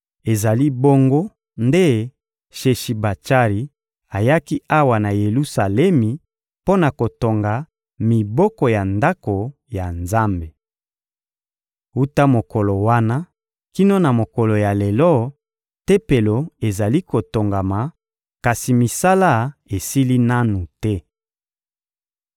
Ezali bongo nde Sheshibatsari ayaki awa na Yelusalemi mpo na kotonga miboko ya Ndako ya Nzambe. Wuta mokolo wana kino na mokolo ya lelo, Tempelo ezali kotongama, kasi misala esili nanu te.›